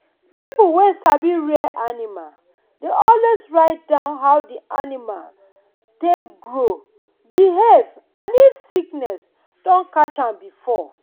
people wey sabi rear animal dey always write down how the how the animal take grow behave and if sickness don catch am before.